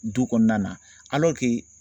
Du kɔnɔna na